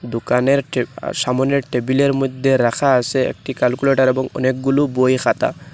দোকানের টে আ সামোনের টেবিলের মইদ্যে রাখা আসে একটি ক্যালকুলেটর এবং অনেকগুলো বই খাতা।